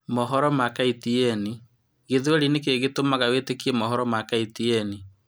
mohoro ma KTN,gĩthweri nĩkĩĩ kĩngĩtuma wĩtĩkie mohoro ma KTN